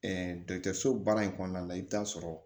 dɔkitɔriso baara in kɔnɔna la i bɛ taa sɔrɔ